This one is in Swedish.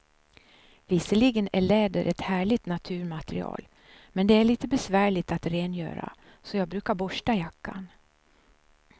Visserligen är läder ett härligt naturmaterial, men det är lite besvärligt att rengöra, så jag brukar borsta jackan.